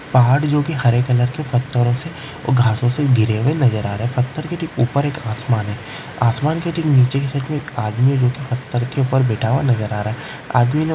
पहाड़ है जो हरे कलर की पत्थरों से घासो से गिरे हुए है नजर आ रहे है पत्थर के उपर एक आसमान है आसमान के नीचे की तरफ एक आदमी है जो की एक पत्थर के उपर बेढ़ा हुआ नजर आ रहा है आदमी ने--